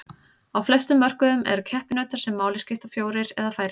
Á flestum mörkuðum eru keppinautar sem máli skipta fjórir eða færri.